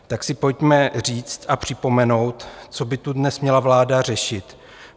Tak si pojďme říct a připomenout, co by tu dnes měla vláda řešit.